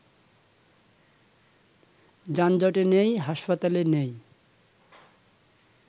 যানজটে নেই, হাসপাতালে নেই